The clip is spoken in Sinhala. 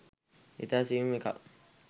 ඉතා සියුම් එකක්